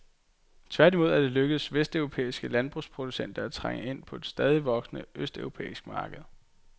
Tværtimod er det lykkedes vesteuropæiske landbrugsproducenter at trænge ind på et stadigt voksende østeuropæisk marked.